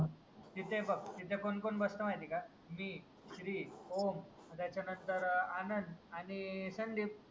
तिथे बाग तिथे कोण कोण बस्तं माहितीये का. श्री, ओम त्याच्या नंतर आनंद आणि संदीप.